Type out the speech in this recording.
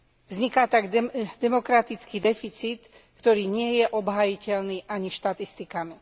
Vzniká tak demokratický deficit, ktorý nie je obhájiteľný ani štatistikami.